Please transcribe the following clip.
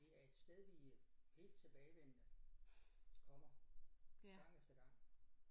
Det er et sted vi helt tilbagevendende kommer gang efter gang